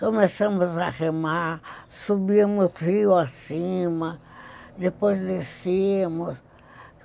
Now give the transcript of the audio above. Começamos a remar, subimos rio acima, depois descemos.